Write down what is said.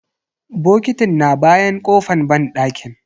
Bokitin na bayan kofan banɗakin.